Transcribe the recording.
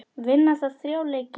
Vinna þarf þrjá leiki.